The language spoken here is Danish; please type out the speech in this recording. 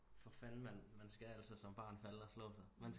For fanden man man skal altså som barn falde og slå sig man